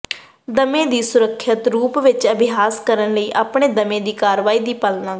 ਦਮੇ ਨਾਲ ਸੁਰੱਖਿਅਤ ਰੂਪ ਵਿੱਚ ਅਭਿਆਸ ਕਰਨ ਲਈ ਆਪਣੀ ਦਮੇ ਦੀ ਕਾਰਵਾਈ ਦੀ ਪਾਲਣਾ ਕਰੋ